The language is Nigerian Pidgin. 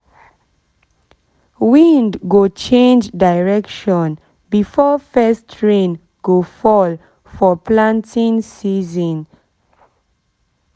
wind go change direction before first rain go fall for planting season